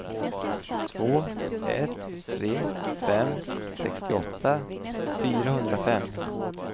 två ett tre fem sextioåtta fyrahundrafem